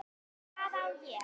hváði ég.